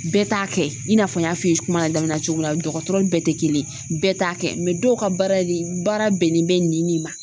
Bɛɛ t'a kɛ i n'a fɔ n y'a f'i ye kuma daminɛ cogo min dɔgɔtɔrɔ bɛɛ te kelen ye bɛɛ t'a kɛ dɔw ka baara de baara bɛnnen bɛ nin nin ma